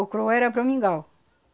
O curuá era para o mingau.